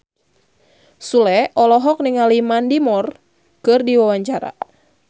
Sule olohok ningali Mandy Moore keur diwawancara